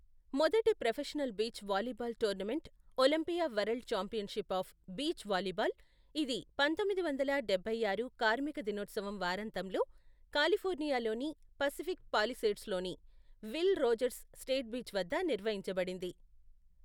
మొదటి professional beach volleyball tournament Olympia world championship of beach volleyball, ఇది పంతొమ్మిది వందల డబ్బై ఆరు కార్మిక దినోత్సవం వారాంతంలో, కాలిఫోర్నియాలోని పసిఫిక్ పాలిసేడ్స్లోని విల్ రోజర్స్ స్టేట్ బీచ్ వద్ద నిర్వహించబడింది.